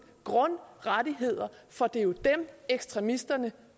grundrettigheder for det er jo dem ekstremisterne